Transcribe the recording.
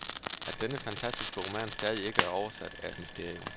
At denne fantastiske roman stadig ikke er oversat, er et mysterium.